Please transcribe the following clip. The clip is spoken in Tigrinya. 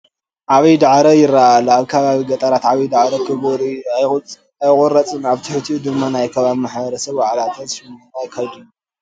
ዓብይ ዳዕሮ ይርአ ኣሎ፡፡ ኣብ ከባቢ ገጠራት ዓብዪ ዳዕሮ ክቡር እዩ፡፡ ኣይቑረፅን፡፡ ኣብ ትሕቲኡ ድማ ናይ ከባቢ ማሕበረሰብ ዋዕላታትን ሽምግልናን የካይድሉ፡፡